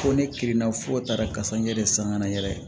Ko ne kirinna fo taara kasa n yɛrɛ san kana n yɛrɛ ye